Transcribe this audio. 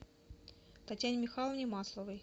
татьяне михайловне масловой